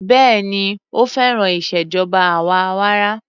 Béèni ó féràn ìṣèjọba àwa arawa.